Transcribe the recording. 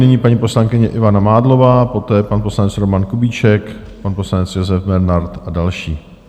Nyní paní poslankyně Ivana Mádlová, poté pan poslanec Roman Kubíček, pan poslanec Josef Bernard a další.